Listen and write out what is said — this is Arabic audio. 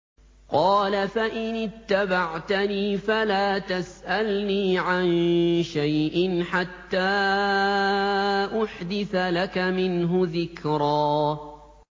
قَالَ فَإِنِ اتَّبَعْتَنِي فَلَا تَسْأَلْنِي عَن شَيْءٍ حَتَّىٰ أُحْدِثَ لَكَ مِنْهُ ذِكْرًا